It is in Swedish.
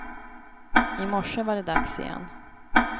I morse var det dags igen.